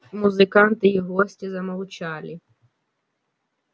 музыканты и гости замолчали